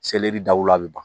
Selɛri daw la a bɛ ban